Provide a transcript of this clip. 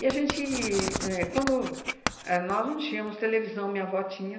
E a gente éh... Quando... A nós não tínhamos televisão, minha avó tinha.